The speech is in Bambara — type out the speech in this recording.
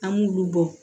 An b'olu bɔ